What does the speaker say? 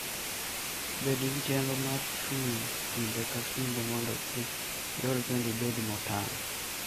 Bed gi chenro mar chung' kinde ka kinde mondo kik iol kendo ibed motang'.